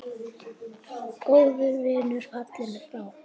Góður vinur fallinn frá.